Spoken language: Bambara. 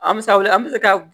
An bɛ se ka wuli an bɛ se ka